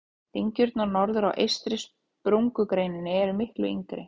Dyngjurnar norðar á eystri sprungureininni eru miklu yngri.